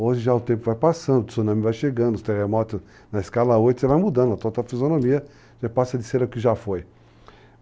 hoje já o tempo vai passando, o tsunami vai chegando, os terremotos na escala 8, você vai mudando, a tota fisionomia já passa de ser o que já foi.